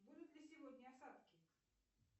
будут ли сегодня осадки